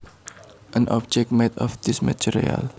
An object made of this material